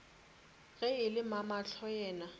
ge e le mamahlo yena